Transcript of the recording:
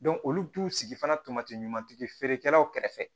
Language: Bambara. olu t'u sigi fana tomati ɲumantigi feerekɛlaw kɛrɛfɛ